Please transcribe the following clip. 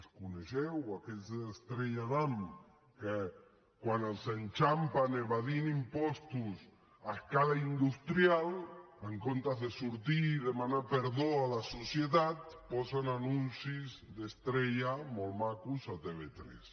els coneixeu aquells d’estrella damm que quan els enxampen evadint impostos a escala industrial en comptes de sortir i demanar perdó a la societat posen anuncis d’estrella molt macos a tv3